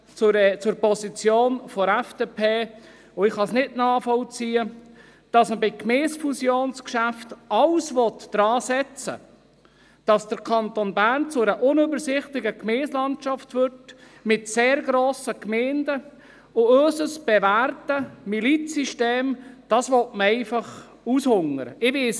Ich persönlich kann es nicht nachvollziehen, dass man bei Geschäften, die Gemeindefusionen betreffen, alles daran setzen will, dass der Kanton Bern zu einer unübersichtlichen Gemeindelandschaft mit sehr grossen Gemeinden wird, und unser bewährtes Milizsystem einfach aushungern will.